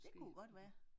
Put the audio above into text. Det kunne godt være